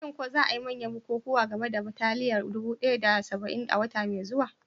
Shin ko za a yi manyan bukukuwan game da bataliyar dubu ɗaya da saba'in a wata mai zuwa?